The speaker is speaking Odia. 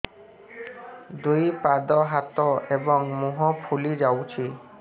ଦୁଇ ପାଦ ହାତ ଏବଂ ମୁହଁ ଫୁଲି ଯାଉଛି